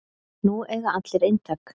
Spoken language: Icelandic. Nú eiga allir eintak